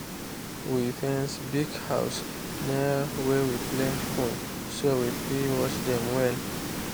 we fence pig house near where we plant corn so we fit watch dem well.